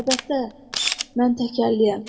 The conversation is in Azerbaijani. Əlbəttə, mən təkərləyəm.